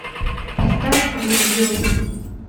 поставь виз ю